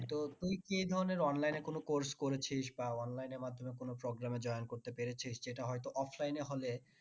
তো তুই কি এই ধরণের online এ কোনো course করেছিস বা online এর মাধ্যমে কোনো program এ join করতে পেরেছিস সেটা হয়তো offline এ হলে